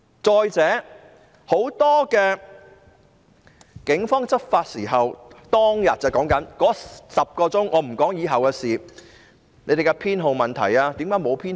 再者，很多警察在執法時——我說的6月12日當天，以後的事不說——沒有展示警員編號。